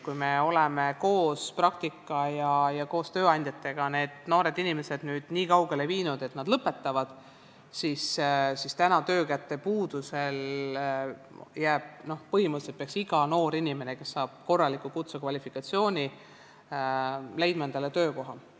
Kui me oleme praktika abil koos tööandjatega need noored inimesed aidanud niikaugele, et nad lõpetavad kooli, siis nüüd, töökäte puuduse ajal, peaks põhimõtteliselt iga noor inimene, kes saab korraliku kutsekvalifikatsiooni, leidma endale töökoha.